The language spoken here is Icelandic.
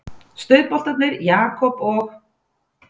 Stuðboltarnir Jakob og